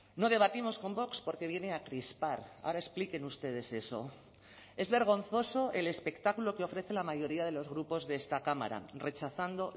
no debatimos con vox porque viene a crispar ahora expliquen ustedes eso es vergonzoso el espectáculo que ofrece la mayoría de los grupos de esta cámara rechazando